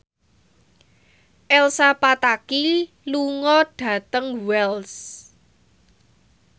Elsa Pataky lunga dhateng Wells